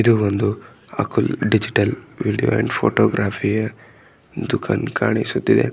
ಇದು ಒಂದು ಅಕುಲ್ ಡಿಜಿಟಲ್ ವಿಡಿಯೊ ಅಂಡ್ ಫೋಟೋಗ್ರಪಿ ಯ ದುಃಖಾನ ಕಾಣಿಸುತಿದೆ.